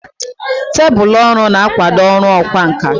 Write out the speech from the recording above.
Tebụl ọrụ na-akwado ọrụ ọkwá nkà.